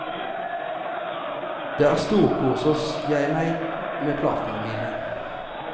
Der storkoser jeg meg med plantene mine.